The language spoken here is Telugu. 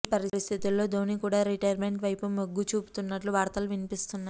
ఈ పరిస్థితు ల్లో ధోని కూడా రిటైర్మెంట్ వైపు మొగ్గు చూపుతున్నట్టు వార్తలు వినిపిస్తున్నాయి